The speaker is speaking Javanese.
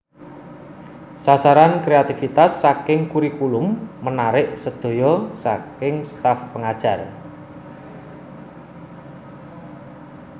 Sasaran kreatifitas saking kurikulum menarik sedaya saking staff pengajar